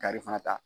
Kari fana ta